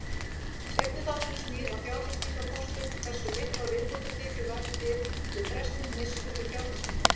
Seinni þátturinn snýr að fjárfestingakostum, hversu miklar viðbótartekjur verða til við frestun neyslu til fjárfestinga.